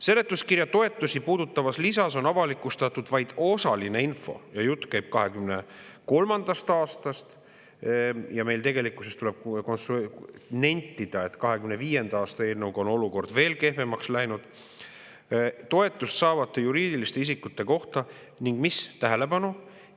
Seletuskirja toetusi puudutavas lisas on avalikustatud vaid osaline info – jutt käib 2023. aastast ja tuleb nentida, et 2025. aasta eelnõuga on olukord tegelikult veel kehvemaks läinud – toetust saavate juriidiliste isikute kohta ning see – tähelepanu!